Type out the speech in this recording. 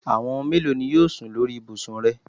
Àwọn mélòo ni wọn yóò sùn lórí ibùsùn rẹ?